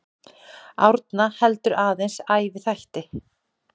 Árna heldur aðeins æviþætti.